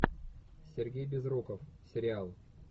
сергей безруков сериал